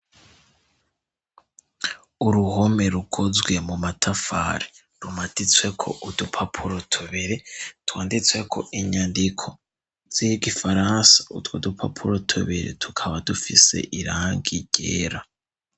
Uruhome rukozwe mu matafari rumaditsweko udupapuro tubiri twanditsweko inyandiko z'igifaransa, utwo dupapuro tubiri tukaba dufise irangi ryera.